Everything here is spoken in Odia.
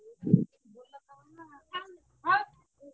bgspeech